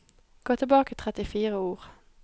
Gå tilbake trettifire ord